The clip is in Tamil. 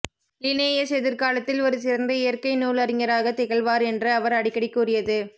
லினேயஸ் எதிர்காலத்தில் ஒரு சிறந்த இயற்கை நூல் அறிஞராகத் திகழ்வார் என்று அவர் அடிக்கடி கூறியது